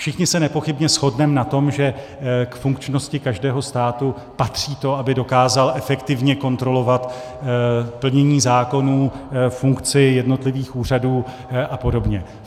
Všichni se nepochybně shodneme na tom, že k funkčnosti každého státu patří to, aby dokázal efektivně kontrolovat plnění zákonů, funkci jednotlivých úřadů a podobně.